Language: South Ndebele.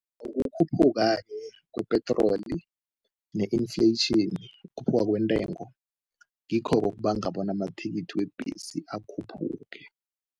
Ukukhuphuka-ke kwe-petroli ne-inflation, ukukhuphuka kwentengo, ngikho-ke okubanga bona amathikithi webhesi akhuphuke.